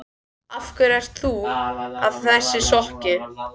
Af hverju ertu þá að þessu skokki?